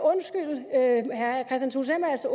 have mig